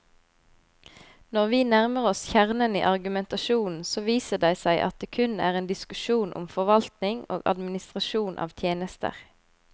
Når vi nærmer oss kjernen i argumentasjonen, så viser det seg at det kun er en diskusjon om forvaltning og administrasjon av tjenester.